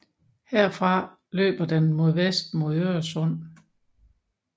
Herfra løber den mod vest mod Øresund